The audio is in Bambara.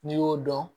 N'i y'o dɔn